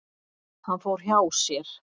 Hann fór hjá sér.